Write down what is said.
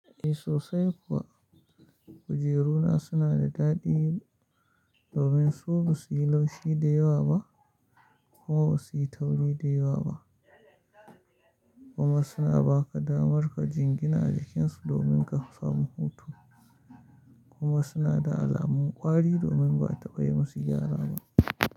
Eh sosai kuwa, kujeru na suna da daɗi domin su ba su yi laushi da yawa ba kuma ba su yi tauri da yawa ba kuma suna ba ka damar ka jingina a jikinsu domin ka samu hutu kuma suna da alamun ƙwari domin ba a taba yi musu gyara ba.